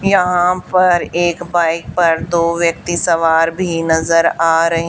यहाँ पर एक बाइक पर दो व्यक्ती सवार भी नजर आ र--